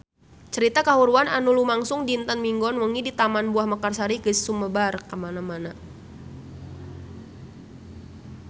Carita kahuruan anu lumangsung dinten Minggon wengi di Taman Buah Mekarsari geus sumebar kamana-mana